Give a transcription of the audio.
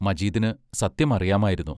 മജീദിനു സത്യം അറിയാമായിരുന്നു.